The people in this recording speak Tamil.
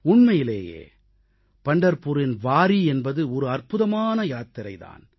உண்மையிலேயே பண்டர்புரின் வாரீ என்பது ஒரு அற்புதமான யாத்திரை தான்